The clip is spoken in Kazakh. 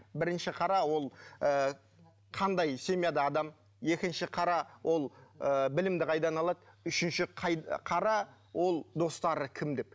бірінші қара ол ы қандай семьяда адам екінші қара ол ы білімді қайдан алады үшінші қара ол достары кім деп